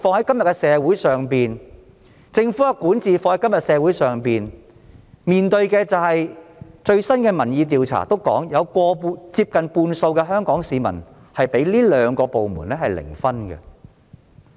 今天社會面對警暴問題及政府管治問題，最新的民意調查指出，接近半數香港市民認為這兩個部門的得分是零。